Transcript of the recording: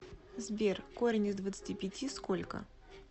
сбер корень из двадцати пяти сколько